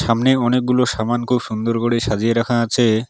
সামনে অনেকগুলো সামান খুব সুন্দর করে সাজিয়ে রাখা আছে।